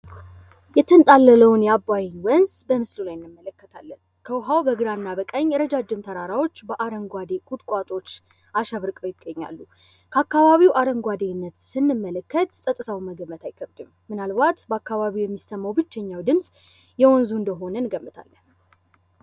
የተንጣለለውን የዓባይን ወንዝ በመስኖ ላይ እንመለከታለን። ከውኃው በግራና በቀኝ ረጃጅም ተራራዎች በአረንጓዴ ቁጥቋጦዎች አሸብርቀው ይገኛሉ። ከአካባቢው አረንጓዴነት ስንመለከት ጽጥተው መገመት አይከብድም። ምናልባት በአካባቢው የሚሰማው ብቸኛው ድምፅ የወንዙ እንደሆነ ይገመታል።